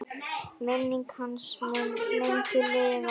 Minning hans mun lengi lifa.